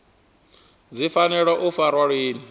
dzi fanela u farwa lini